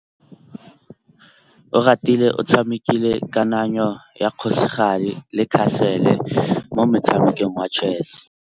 Oratile o tshamekile kananyô ya kgosigadi le khasêlê mo motshamekong wa chess.